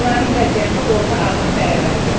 Onların vəziyyəti orta ağır dəyərləndirilir.